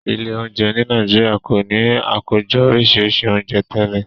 Ilé oúnjẹ ní Nàìjíríà kò ní Àkójọ oríṣi oúnjẹ tẹlẹ.